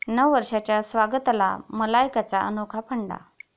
नववर्षाच्या स्वागताला मलायकाचा अनोखा फंडा